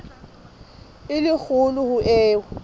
e le kgolo ho eo